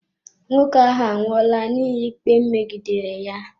Nwoke ahụ anwụola n'ihi ikpe megidere ya.